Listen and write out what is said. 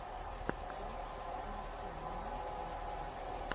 трек хим тима имеется ли у тебя